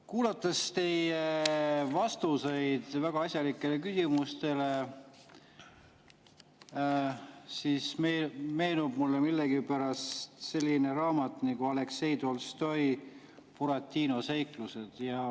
Kuulates teie vastuseid väga asjalikele küsimustele, meenub mulle millegipärast selline raamat nagu Aleksei Tolstoi "Buratino seiklused".